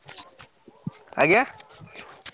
ଆଜ୍ଞା?